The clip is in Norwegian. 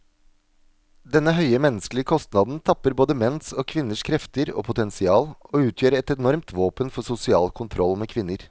Denne høye menneskelige kostnaden tapper både menns og kvinners krefter og potensial, og utgjør et enormt våpen for sosial kontroll med kvinner.